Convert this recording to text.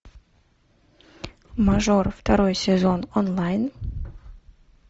мажор второй сезон онлайн